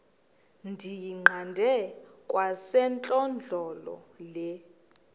ndiyiqande kwasentlandlolo le